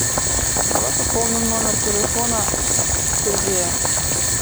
давай пополним номер телефона сергея